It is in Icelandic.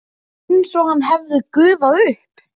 Var einsog hann hefði gufað upp.